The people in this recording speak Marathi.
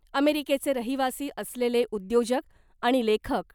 अमेरिकेचे रहिवासी असलेले उद्योजक आणि लेखक